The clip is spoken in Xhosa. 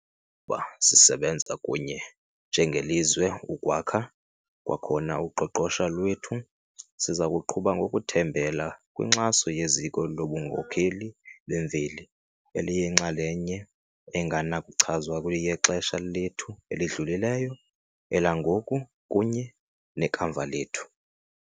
Uba sisebenza kunye njengelizwe ukwakha kwakhona uqoqosho lwethu, sizakuqhuba ngokuthembela kwinkxaso yeziko lobunkokheli bemveli, eliyinxalenye engenakuchazwa yexesha lethu elidlulileyo, elangoku kunye nekamva lethu.